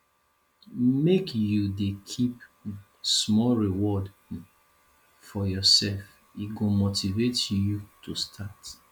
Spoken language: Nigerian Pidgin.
make you dey keep um small reward um for yoursef e go motivate you to start